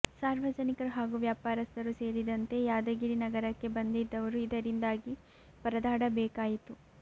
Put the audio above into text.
ಸಾರ್ವಜನಿಕರು ಹಾಗೂ ವ್ಯಾಪಾರಸ್ಥರು ಸೇರಿದಂತೆ ಯಾದಗಿರಿ ನಗರಕ್ಕೆ ಬಂದಿದ್ದವರು ಇದರಿಂದಾಗಿ ಪರದಾಡಬೇಕಾಯಿತು